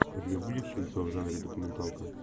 у тебя будет кинцо в жанре документалка